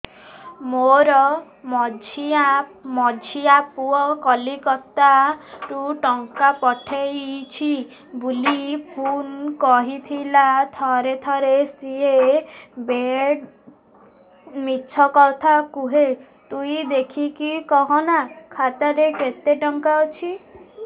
ମୋର ମଝିଆ ପୁଅ କୋଲକତା ରୁ ଟଙ୍କା ପଠେଇଚି ବୁଲି ଫୁନ କରିଥିଲା ଥରେ ଥରେ ସିଏ ବେଡେ ମିଛ କଥା କୁହେ ତୁଇ ଦେଖିକି କହନା ଖାତାରେ କେତ ଟଙ୍କା ଅଛି